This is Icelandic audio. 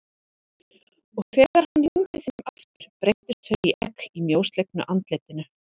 Og þegar hann lygndi þeim aftur breyttust þau í egg í mjóslegnu andlitinu.